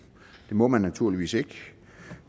det må man naturligvis ikke